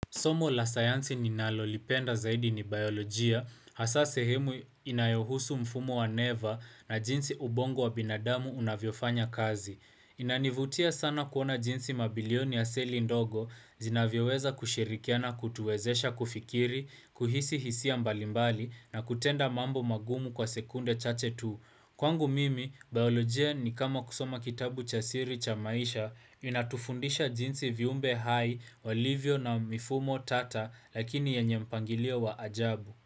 Somo la sayansi ninalolipenda zaidi ni biolojia, hasa sehemu inayohusu mfumo wa neva na jinsi ubongo wa binadamu unavyofanya kazi. Inanivutia sana kuona jinsi mabilioni ya seli ndogo, zinavyoweza kushirikiana kutuwezesha kufikiri, kuhisi hisia mbalimbali na kutenda mambo magumu kwa sekunde chache tu. Kwangu mimi, biolojia ni kama kusoma kitabu cha siri cha maisha, inatufundisha jinsi viumbe hai, walivyo na mifumo tata, lakini yenye mpangilio wa ajabu.